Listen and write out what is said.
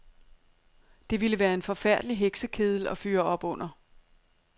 Det ville være en forfærdelig heksekedel at fyre op under.